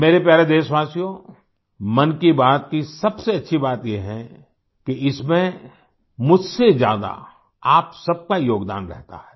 मेरे प्यारे देशवासियों मन की बात की सबसे अच्छी बात ये है कि इसमें मुझसे ज्यादा आप सबका योगदान रहता है